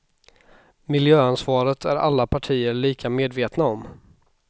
Miljöansvaret är alla partier lika medvetna om.